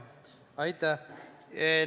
Aitäh!